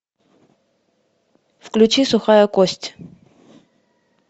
включи сухая кость